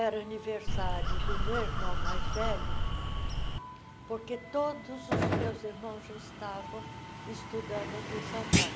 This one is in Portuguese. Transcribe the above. Era aniversário do meu irmão mais velho, porque todos os meus irmãos já estavam estudando aqui em São Paulo.